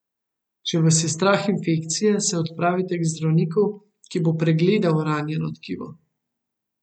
Če vas je strah infekcije, se odpravite k zdravniku, ki bo pregledal ranjeno tkivo.